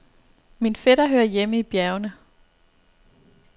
Min fætter hører hjemme i bjergene.